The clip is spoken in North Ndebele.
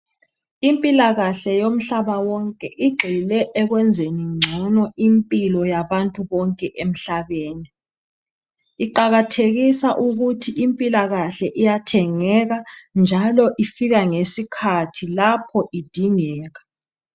Impilakahle yomhlaba wonke igxile ekwenzeni ngcono impilo yabantu bonke emhlabeni. Iqakathekisa ukuthi impilakahle iyathengeka njalo ifika ngesikhathi lapho idingeka.